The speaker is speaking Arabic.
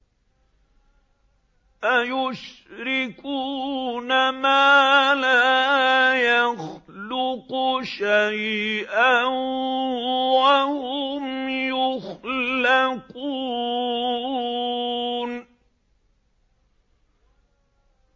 أَيُشْرِكُونَ مَا لَا يَخْلُقُ شَيْئًا وَهُمْ يُخْلَقُونَ